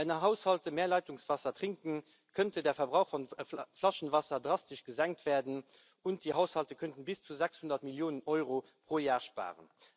Wenn Haushalte mehr Leitungswasser trinken, könnte der Verbrauch von Flaschenwasser drastisch gesenkt werden, und die Haushalte könnten bis zu 600 Millionen Euro pro Jahr sparen.